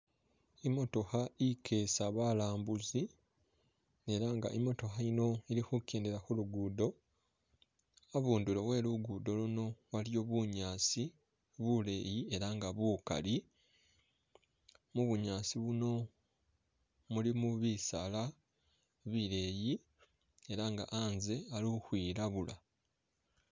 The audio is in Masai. Imotokha ikesa balambuzi elanga imotokha yino ilikhukendela khulugudo habundulo we lugudo luno waliyo buyasi buleyi elanga bukali mubunyasi buno mulimu bisaala bileyi elanga haaze khali ukhwilabula.